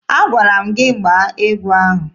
Agwara m gị gbaa egwu ahụ!